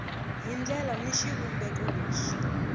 hi ndlela ni xivumbeko lexi